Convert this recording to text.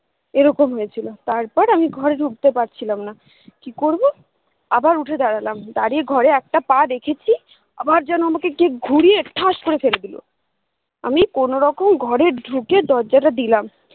এরকম হয়েছিল তারপর আমি ঘরে ঢুকতে পারছিলাম না কি করবো আবার উঠে দাঁড়ালাম দাঁড়িয়ে ঘরে একটা পা রেখেছি আবার যেন কে আমাকে ঘুরিয়ে ঠাস করে ফেলে দিলো আমি কোনোরকম ঘরে ঢুকে দরজাটা দিলাম